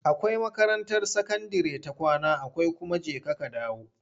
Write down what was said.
Akwai makarantar sakandire ta kwana akwai kuma jeka-kadawo.